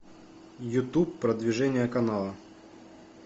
ютуб продвижение канала